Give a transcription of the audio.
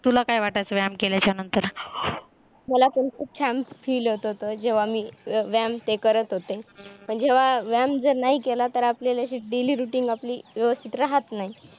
तुला काय वाटायचं व्यायाम केल्याचा नंतर? मला पण खूप छान feel होतं होत, जेव्हा मी व्यायाम ते करत होते, पण जेव्हा व्यायाम जर नाही केलं तर आपली अशी daily routine आपली व्यवस्थित राहत नाही